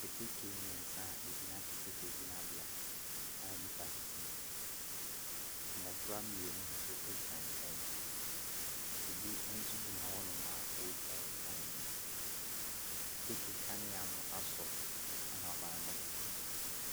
Ketekete mmensa a egyina keteke gyinabea a nnipa tete mu. Mmɔfra mmienu nso egyina nkyɛn, obi nso gyina hɔ nom a ootwa ɛkwan ne mu, keteke kanea no asɔ ahaban mono.